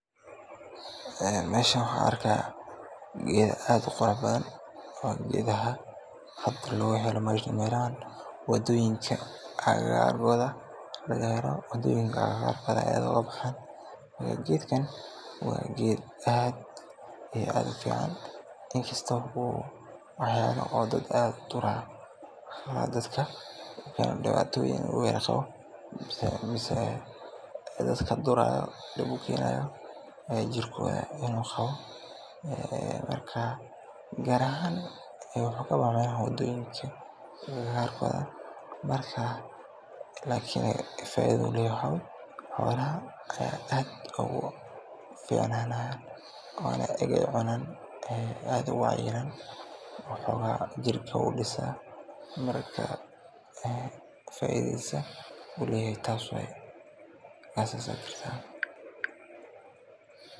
Meeshan waxaan arkaaya geeda aad uqurux badan oo geedaha aad looga helo meelaha wadoyinka agagaarkooda laga helo, meelahaas ayeey aad ooga baxaan, geedkan waa geed aad iyo aad ufican, in kasto oo uu wax yaaba dadka duraayo, dadka dibatoyin ku qabo oo duraayo, jirkooda, gaar ahaan muxuu ka baxaa meelaha wadoyinka, marka lakin faaidada uu leyahay waxaa waye xoolaha ayaa aad oogu ficnanayaan, oona markaay cunaan aad oogu cayilaan oo xogaa jirka udisa, faidadiisa uu leyahay taas waye.